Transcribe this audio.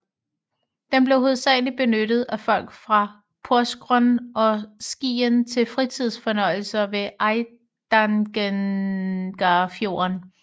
Den blev hovedsageligt benyttet af folk fra Porsgrunn og Skien til fritidsfornøjelser ved Eidangerfjorden